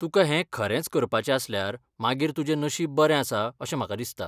तुका हें खरेंच करपाचें आसल्यार मागीर तुजें नशीब बरें आसा अशें म्हाका दिसता.